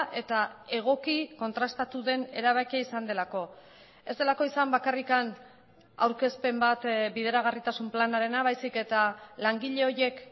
eta egoki kontrastatu den erabakia izan delako ez delako izan bakarrik aurkezpen bat bideragarritasun planarena baizik eta langile horiek